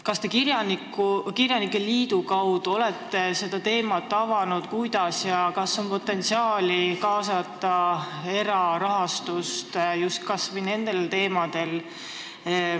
Kas te kirjanike liidu kaudu olete seda teemat avanud, kas on potentsiaali kaasata erarahastust?